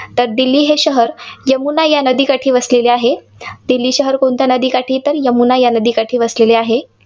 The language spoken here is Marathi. तर दिल्ली हे शहर यमुना या नदीकाठी वसलेले आहे. दिल्ली शहर कोणत्या नदीकाठी? तर, यमुना या नदीकाठी वसलेले आहे.